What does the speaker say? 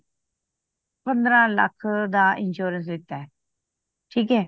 ਪੰਦਰਾਂ ਲੱਖ ਦਾ insurance ਲਿਤਾ ਠੀਕ ਆ